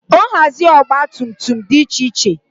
nhazi ọgba tum tum dị iche iche